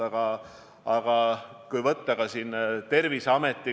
Väga mitmed Euroopa riigid on täna teinud otsuse, mis puudutavad kaht kriteeriumi.